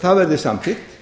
það verði samþykkt